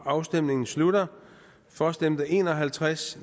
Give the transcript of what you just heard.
afstemningen slutter for stemte en og halvtreds